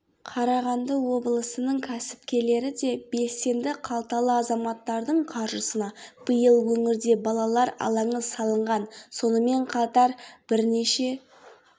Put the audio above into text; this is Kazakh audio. қарағанды облысының кәсіпкерлері де белсенді қалталы азаматтардың қаржысына биыл өңірде балалар алаңы салынған сонымен қатар бірнеше